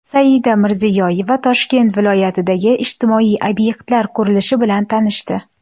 Saida Mirziyoyeva Toshkent viloyatidagi ijtimoiy obyektlar qurilishi bilan tanishdi .